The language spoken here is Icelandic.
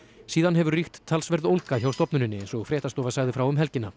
síðan hefur ríkt talsverð ólga hjá stofnuninni eins og fréttastofa sagði frá um helgina